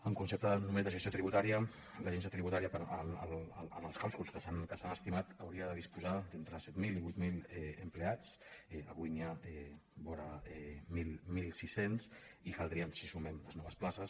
en concepte només de gestió tributària l’agència tributària en els càlculs que s’han estimat hauria de disposar d’entre set mil i vuit mil empleats avui n’hi ha vora mil sis cents si sumem les noves places